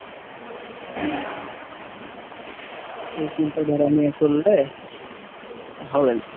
এই চিন্তা ধারা নিয়ে চললে হবে না।